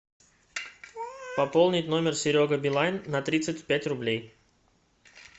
пополнить номер серега билайн на тридцать пять рублей